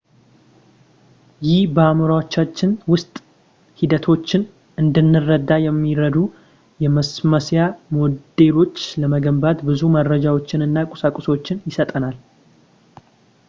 ይህ በአዕምሮአችን ውስጥ ሂደቶችን እንድንረዳ የሚረዱ የማስመሰያ ሞዴሎችን ለመገንባት ብዙ መረጃዎችን እና ቁሳቁሶችን ይሰጠናል